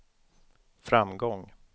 framgång